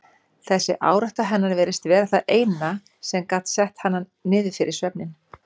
Þessi árátta hennar virtist vera það eina sem gat sett hana niður fyrir svefninn.